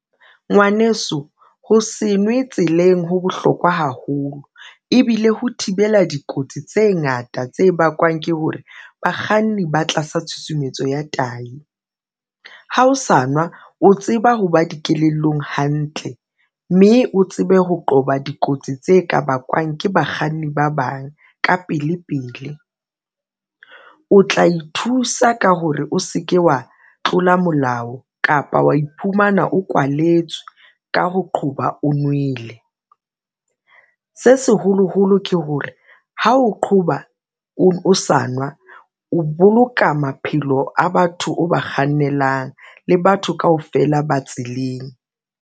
Ngwaneso, ho se nwe tseleng ho bohlokwa haholo ebile ho thibela dikotsi tse ngata tse bakwang ke hore bakganni ba tlasa tshusumetso ya tayi. Ha o sa nwe o tseba ho ba dikelellong hantle mme o tsebe ho qoba dikotsi tse ka bakwang ke bakganni ba bang ka pele pele. O tla ithusa ka hore o se ke wa tlola molao kapa wa iphumana o kwalletswe ka ho qoba o nwele. Se seholoholo ke hore ha o qhoba o sa nwa, o boloka maphelo a batho o ba kgannelang le batho kaofela ba tseleng.